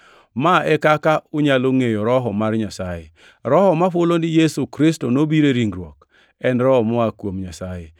Ma e kaka unyalo ngʼeyo Roho mar Nyasaye: Roho ma hulo ni Yesu Kristo nobiro e ringruok en Roho moa kuom Nyasaye,